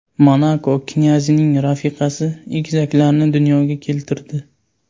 Monako knyazining rafiqasi egizaklarni dunyoga keltirdi.